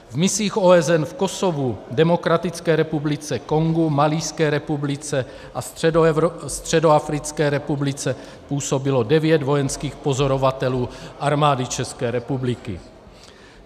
V misích OSN v Kosovu, Demokratické republice Kongo, Malijské republice a Středoafrické republice působilo devět vojenských pozorovatelů Armády České republiky.